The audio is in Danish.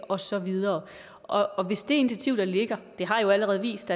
og så videre og hvis det initiativ der ligger det har jo allerede vist